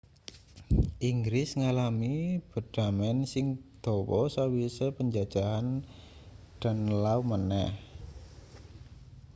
inggris ngalami bedhamen sing dawa sawise panjajahan danelaw maneh